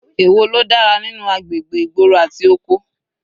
Èwo ló dára nínú agbègbè ìgboro àti oko?